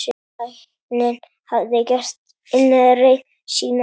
Tæknin hafði gert innreið sína.